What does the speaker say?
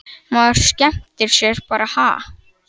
Maður skemmtir sér bara ha?